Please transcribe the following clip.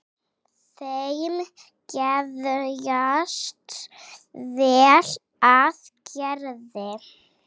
Þeim geðjast vel að Gerði.